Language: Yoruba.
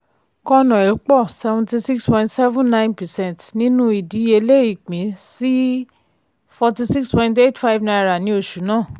conoil pọ̀ seventy six point seven nine percent nínú ìdíyelé ìpín sí fourty six point eight five naira ní oṣù náà.